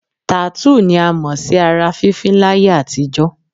Tàtúù ni a mọ̀ sí ara fífín láyé àtijọ́